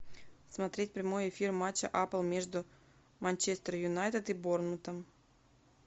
смотреть прямой эфир матча апл между манчестер юнайтед и борнмутом